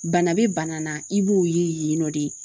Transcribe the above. Bana bɛ bana na i b'o ye yen nɔ de